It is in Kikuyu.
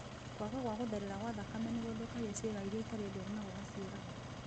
Kwaga gwa gũtherera gwa thakame nĩgũthũkagia ciĩga irĩa itarĩ ndwaru na gũgaciũraga